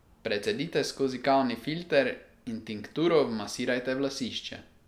Precedite skozi kavni filter in tinkturo vmasirajte v lasišče.